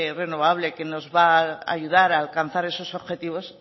renovable que nos va a ayudar a alcanzar esos objetivos